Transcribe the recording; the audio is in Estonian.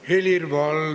Aitäh!